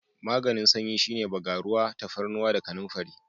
Maganin sanyi shine bagaruwa, tafarnuwa da kanamfari.